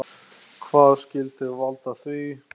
Hvað skyldi valda því?